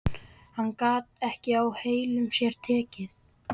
Hann gat ekki á heilum sér tekið.